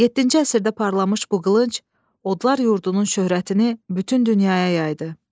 Yeddinci əsrdə parlamış bu qılınc odlar yurdunun şöhrətini bütün dünyaya yaydı.